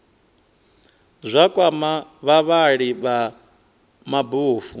zwa kwama vhavhali vha mabofu